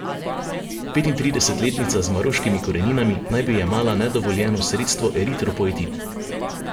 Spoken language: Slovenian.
Petintridesetletnica z maroškimi koreninami naj bi jemala nedovoljeno sredstvo eritropoetin.